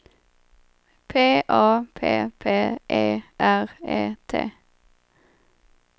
P A P P E R E T